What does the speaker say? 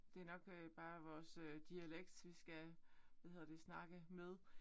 Det nok øh bare vores øh dialekt hvad hedder det vi skal øh snakke med